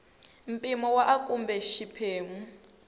mpimo wa a kumbe xiphemu